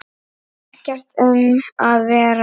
Ekkert um að vera.